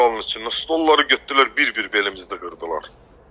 Zalın içində stolları götürdülər bir-bir belimizdə qırdılar.